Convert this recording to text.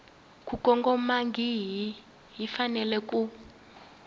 ku kongomangihi yi fanele ku